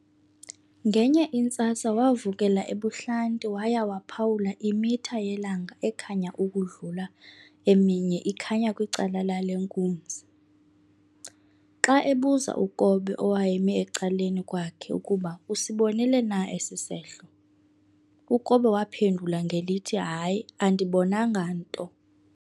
Ngenye intsasa wavukela ebuhlanti waya waphawula imitha yelanga ekhanya ukodlula eminye ikhanya kwicala lale nkunzi. Xa ebuza uKobe owayemi ecaleni kwakhe ukuba usibonile na esi sehlo, ukobe waphendula ngelithi hayi andibonanga nto.